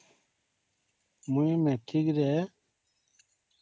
ମୁଇ ମେଟ୍ରିକ ରେ